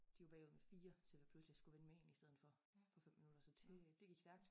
De var bagud med 4 så så vi pludselig skulle vinde med én i stedet for på 5 minutter så til det gik stærkt